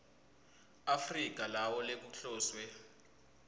afrika lawa lekuhloswe